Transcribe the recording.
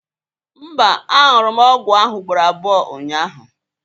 Mba, añụrụ m ọgwụ ahụ ugboro abụọ ụnyahụ